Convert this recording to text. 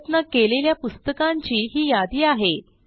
परत न केलेल्या पुस्तकांची ही यादी आहे